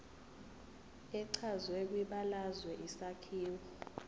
echazwe kwibalazwe isakhiwo